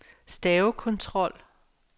stavekontrol